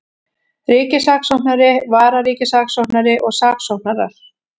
Ríkissaksóknari, vararíkissaksóknari og saksóknarar.